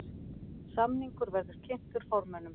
Samningur verði kynntur formönnum